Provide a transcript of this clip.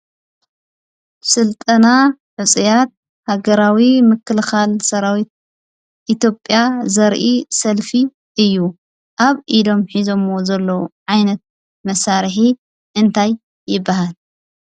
ስልጠና ሕፁያት ሃገራዊ ምክልኻል ሰራዊት ኢትዮጵያ ዘርኢ ሰልፊ እዩ። ኣብ ኢዶም ሒዘምዎ ዘለዉ ዓይነት መሳርሒ እንታይ ይብሃል?